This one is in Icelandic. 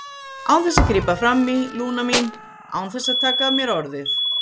Án þess að grípa fram í, Lúna mín, án þess að taka af mér orðið.